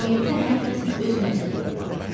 Cəmiyyətdə hər kəsin öz məsuliyyəti var.